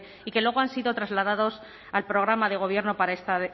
y que luego han sido trasladados al programa de gobierno para esta